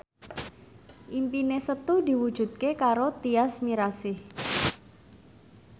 impine Setu diwujudke karo Tyas Mirasih